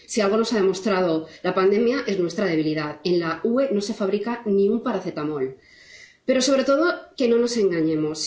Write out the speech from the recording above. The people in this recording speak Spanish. Si algo nos ha demostrado la pandemia, es nuestra debilidad en la UE no se fabrica ni un paracetamol. Pero, sobre todo, que no nos engañemos.